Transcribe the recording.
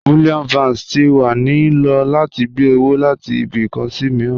Bullion Vans ti wa ni lo lati gbe owo lati ibi kan si miiran.